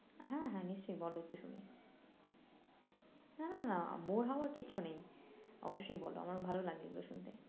হ্যাঁ হ্যাঁ নিশ্চই বলো একটু শুনি না না না bore হওয়ার কিচ্ছু নেই অবশ্যই বলো আমার ভালো লাগে এগুলো শুনতে